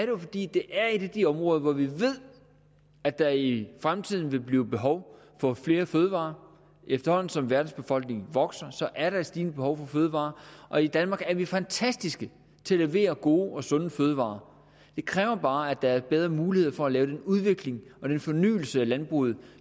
jo fordi det er et af de områder hvor vi ved at der i fremtiden vil blive behov for flere fødevarer efterhånden som verdens befolkning vokser er der et stigende behov for fødevarer og i danmark er vi fantastiske til at levere gode og sunde fødevarer det kræver bare at der er bedre muligheder for at lave den udvikling og den fornyelse af landbruget